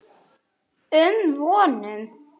Af hverju þriggja ára reglan?